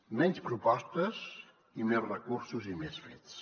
menys propostes i més recursos i més fets